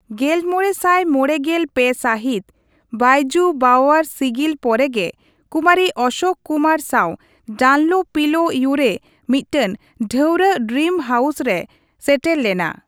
ᱜᱮᱞᱢᱚᱬᱮ ᱥᱟᱭ ᱢᱚᱲᱮ ᱜᱮᱞ ᱯᱮ ᱥᱟᱹᱦᱤᱛ, ᱵᱚᱹᱭᱡᱩ ᱵᱟᱣᱣᱟᱨ ᱥᱤᱜᱤᱞ ᱯᱚᱨᱮ ᱜᱮ, ᱠᱩᱢᱟᱨᱤ ᱚᱥᱳᱠ ᱠᱩᱢᱟᱨ ᱥᱟᱣ ᱰᱟᱱᱞᱳ ᱯᱤᱞᱳ ᱤᱭᱩ ᱨᱮ ᱢᱤᱫᱴᱟᱝ ᱰᱷᱟᱹᱣᱨᱟᱹᱜ ᱰᱨᱤᱢ ᱦᱟᱣᱩᱥ ᱨᱮᱭ ᱥᱮᱴᱮᱨ ᱞᱮᱱᱟ ᱾